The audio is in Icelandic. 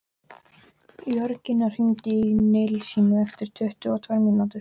Jörgína, hringdu í Nilsínu eftir tuttugu og tvær mínútur.